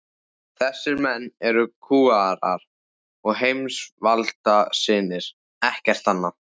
Þessir menn eru kúgarar og heimsvaldasinnar, ekkert annað.